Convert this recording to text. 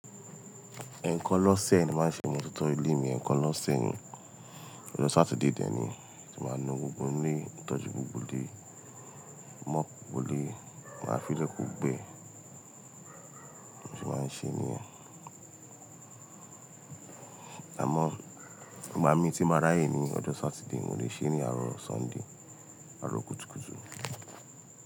Ẹ̀ẹ̀kan lọ́sẹ̀ ní máa ń se imototọ́ ilé mi, ẹ̀ẹ̀kan lọ́sẹ̀ ni. Ọjọ́ Sátidé dé ni ti màá nu gbogbo ilé, tọ́jú gbogbo ilé, mop gbogbo ilé, máa fi lè kó gbẹ. Mo sè máa ń ṣe nìyen. Àmọ́ ìgbà mí tí ń bá ráyè ní ọjọ́ Sátidé, mo lè ṣe é ní àárọ̀ Sọ́ńdè, àárọ̀ kùtùkùtù.